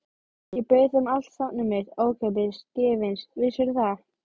Ég bauð þeim allt safnið mitt, ókeypis, gefins, vissirðu það?